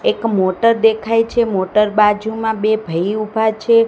એક મોટર દેખાઇ છે મોટર બાજુમાં બે ભઈ ઊભા છે.